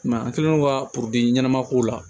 I m'a ye an kɛlen do ka ɲɛnama ko la